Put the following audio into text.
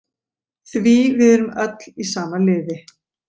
Því við erum öll í sama liði.